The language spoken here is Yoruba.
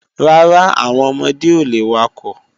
Rárá, àwọn ọmọdé ò le wakọ̀